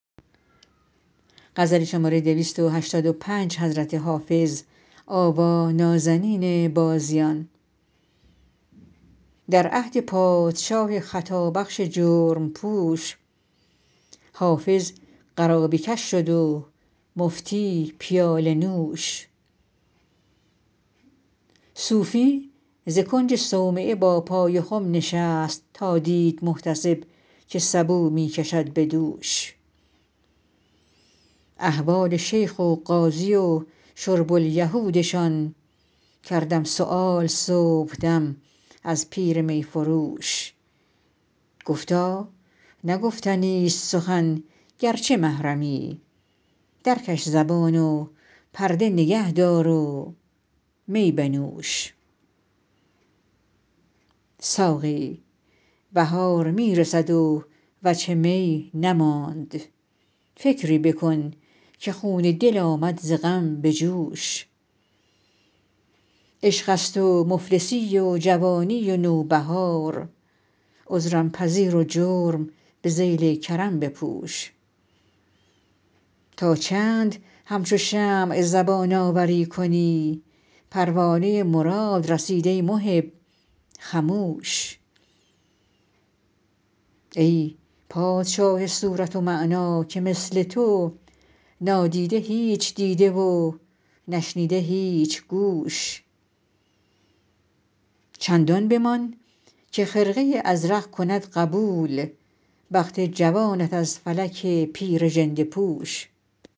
در عهد پادشاه خطابخش جرم پوش حافظ قرابه کش شد و مفتی پیاله نوش صوفی ز کنج صومعه با پای خم نشست تا دید محتسب که سبو می کشد به دوش احوال شیخ و قاضی و شرب الیهودشان کردم سؤال صبحدم از پیر می فروش گفتا نه گفتنیست سخن گرچه محرمی درکش زبان و پرده نگه دار و می بنوش ساقی بهار می رسد و وجه می نماند فکری بکن که خون دل آمد ز غم به جوش عشق است و مفلسی و جوانی و نوبهار عذرم پذیر و جرم به ذیل کرم بپوش تا چند همچو شمع زبان آوری کنی پروانه مراد رسید ای محب خموش ای پادشاه صورت و معنی که مثل تو نادیده هیچ دیده و نشنیده هیچ گوش چندان بمان که خرقه ازرق کند قبول بخت جوانت از فلک پیر ژنده پوش